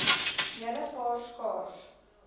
hele paar skaars